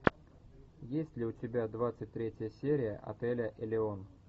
есть ли у тебя двадцать третья серия отеля элеон